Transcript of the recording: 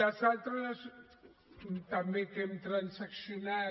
les altres també que hem transaccionat